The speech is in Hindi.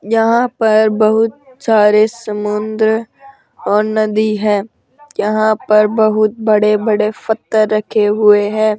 यहां पर बहुत सारे समुद्र और नदी है यहां पर बोहोत बड़े बड़े पत्थर रखे हुए हैं।